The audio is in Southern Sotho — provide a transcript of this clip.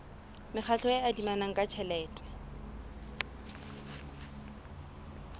mekgatlo e adimanang ka tjhelete